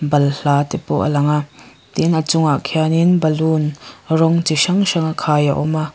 balhla te pawh a lang a tin a chungah khianin balloon rawng chi hrang hrang a khai a awm a.